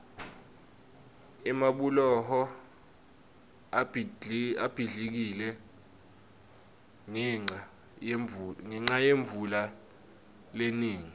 emabhuloho abhidlikile ngenca yemvula lenengi